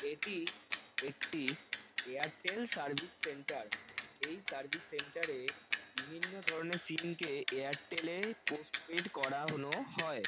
এটি একটি Airtel service centre এই সার্ভিস সেন্টার -এ বিভিন্ন ধরনের সিম -কে এয়ারটেল -এ পোস্টপেইড করানো হয়।